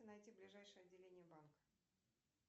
найти ближайшее отделение банка